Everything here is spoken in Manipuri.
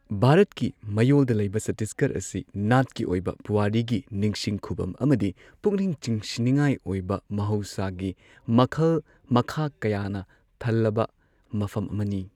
ꯚꯥꯔꯠꯀꯤ ꯃꯌꯣꯜꯗ ꯂꯩꯕ ꯆꯠꯇꯤꯁꯒꯔ ꯑꯁꯤ ꯅꯥꯠꯀꯤ ꯑꯣꯏꯕ ꯄꯨꯋꯥꯔꯤꯒꯤ ꯅꯤꯡꯁꯤꯡ ꯈꯨꯚꯝ ꯑꯃꯗꯤ ꯄꯨꯛꯅꯤꯡ ꯆꯤꯡꯁꯤꯟꯅꯤꯡꯉꯥꯏ ꯑꯣꯏꯕ ꯃꯍꯧꯁꯥꯒꯤ ꯃꯈꯜ ꯃꯈꯥ ꯀꯌꯥꯅ ꯊꯜꯂꯕ ꯃꯐꯝ ꯑꯃꯅꯤ꯫